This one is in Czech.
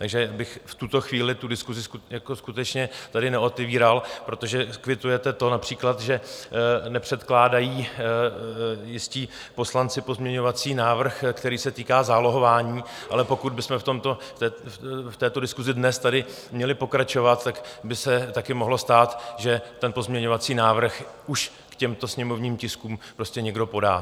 Takže bych v tuto chvíli tu diskusi skutečně tady neotevíral, protože kvitujete to například, že nepředkládají jistí poslanci pozměňovací návrh, který se týká zálohování, ale pokud bychom v této diskusi dnes tady měli pokračovat, tak by se také mohlo stát, že ten pozměňovací návrh už k těmto sněmovním tiskům prostě někdo podá.